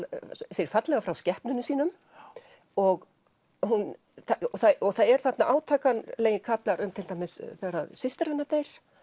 segir fallega frá skepnunum sínum og það eru þarna átakanlegir kaflar um til dæmis þegar systir hennar deyr